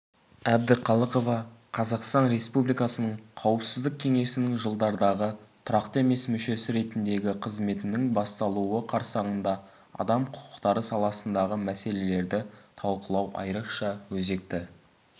әбдіқалықова қазақстан республикасының қауіпсіздік кеңесінің жылдардағы тұрақты емес мүшесі ретіндегі қызметінің басталуы қарсаңында адам құқықтары саласындағы мәселелерді талқылау айрықша өзекті